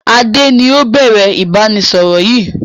Adé ni ó bẹ̀rẹ̀ ìbánisọọ̀rọ̀ yìí